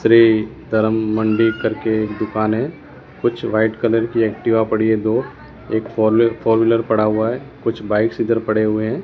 श्री धर्म मंडी करके एक दुकान है कुछ व्हाइट कलर की एक्टिवा पड़ी है दो एक फोल फोर व्हीलर पड़ा हुआ है कुछ बाइक्स इधर पड़े हुए हैं।